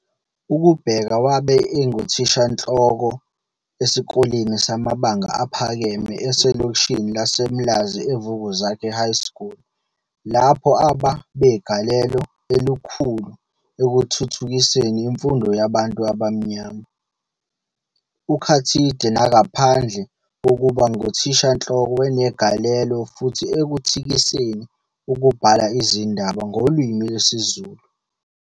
UKubheka wabe enguthishanhloko esikoleni samabanga aphakeme eselokishini laseMlazi eVukuzakhe High School lapho aba begalelo elokhulu ekuthuthukiseni imfundo yabantu abamnyama. UKhathide nagaphandle kokuba ngithishanhloko wnegalelo futhi ekuthikiseni ukubhala izindaba ngolimi lwesiZulu.